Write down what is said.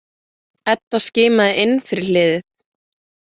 Edda skimaði inn fyrir hliðið.